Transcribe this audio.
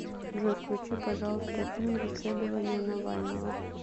джой включи пожалуйста фильм расследование навального